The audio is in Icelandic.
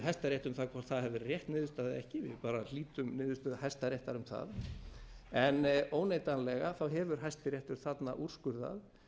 um það hvort það hafi verið rétt niðurstaða eða ekki við bara hlítum niðurstöðum hæstaréttar um það en óneitanlega hefur hæstiréttur þarna úrskurðað